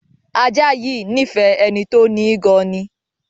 Ajá yìí nífẹ̀ẹ́ ẹni tó ni í gan an ni.